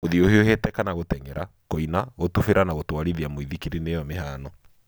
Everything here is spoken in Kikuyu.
Gũthie ũhiũhĩte kana gũteng'era, kũina, gũtubira na gũtwarithia mũithikiri nĩyo mĩhano.